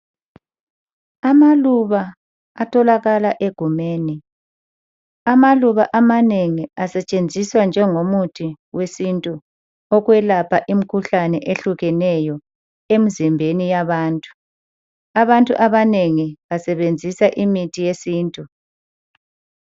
Amaluba atholakala egumeni. Amaluba amanengi asetshenziswa njengomuthi wesintu ukwelapha imkhuhlane ehlukeneyo, emzimbeni yabantu. Abantu abanengi basebenzisa imithi yesintu.